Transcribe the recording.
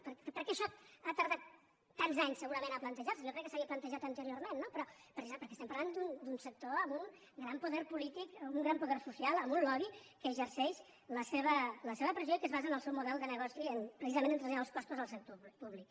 per què això ha tardat tants anys segurament a plantejar se jo crec que s’havia plantejat anteriorment no però precisament perquè estem parlant d’un sector amb un gran poder polític amb un gran poder social amb un lobby que exerceix la seva pressió i que es basa en el seu model de negoci precisament a traslladar els costos al sector públic